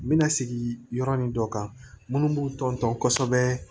N bɛna sigi yɔrɔ ni dɔ kan munnu b'u ton tɔn kosɛbɛ